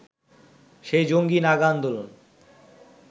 সেই জঙ্গী নাগা আন্দোলন